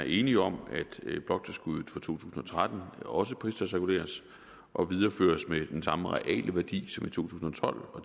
enige om at bloktilskuddet for to tusind og tretten også pristalsreguleres og videreføres med den samme reale værdi som i to tusind og tolv og